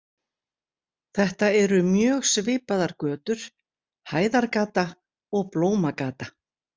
Þetta eru mjög svipaðar götur, Hæðargata og Blómagata.